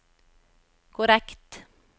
korrekt